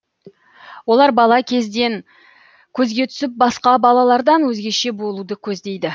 олар бала кезден көзге түсіп басқа балалардан өзгеше болуды көздейді